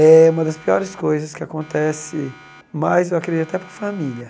É uma das piores coisas que acontece, mas eu acredito até para a família.